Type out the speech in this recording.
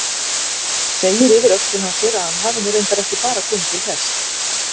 Segir yfir öxlina á sér að hann hafi nú reyndar ekki bara komið til þess.